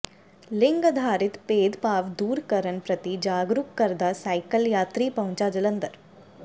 ਲਿੰਗ ਅਧਾਰਿਤ ਭੇਦ ਭਾਵ ਦੂਰਕਰਨ ਪ੍ਰਤੀ ਜਾਗਰੂਕ ਕਰਦਾ ਸਾਈਕਲ ਯਾਤਰੀ ਪਹੁੰਚਾ ਜਲੰਧਰ